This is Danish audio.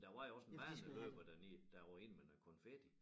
Men der var jo også en baneløber dernede der røg ind med noget konfetti